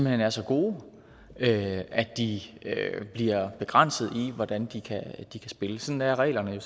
hen er så gode at de bliver begrænset i hvordan de kan spille sådan er reglerne jo